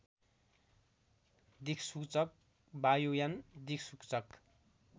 दिक्सूचक वायुयान दिक्सूचक